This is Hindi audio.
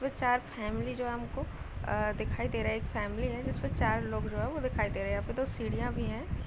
इसमें चार फेमिली जो है हमको दिखाई दे रही है एक फेमिली है जो उसमे चार लोग जो है दिखाई दे रहे है यहाँ पे दो सीढ़ियां भी हे।